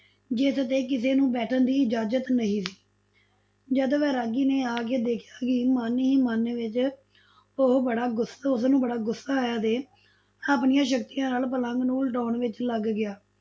ਜਿਸਤੇ ਕਿਸੇ ਨੂੰ ਬੈਠਣ ਦੀ ਇਜਾਜ਼ਤ ਨਹੀ ਸੀ, ਜਦ ਵੈਰਾਗੀ ਨੇ ਆਕੇ ਦੇਖਿਆ ਤਾਂ ਮਨ ਹੀ ਮਨ ਵਿੱਚ ਉਹ ਬੜਾ ਗੁੱਸਾ, ਉਸਨੂੰ ਬੜਾ ਗੁੱਸਾ ਆਇਆ ਤੇ ਆਪਣੀਆਂ ਸ਼ਕਤੀਆਂ ਨਾਲ ਪਲੰਗ ਨੂੰ ਉਲਟਾਓਣ ਵਿਚ ਲੱਗ ਗਿਆ।